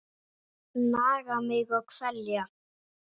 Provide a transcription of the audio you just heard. Naga mig og kvelja.